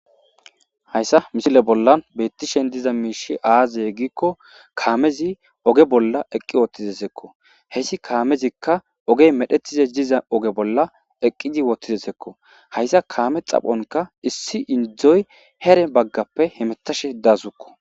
Hayssa misile bollan beettishen diza miishi aaze gikko kaamezi oge bolla eqqi wootidesekko hessi kaamezikka ogey medhetize diza oge bolla eqqizi wotidesekko hayssa kaame xaphonka issi indzdzoy here baggappe hemetashe daasukko.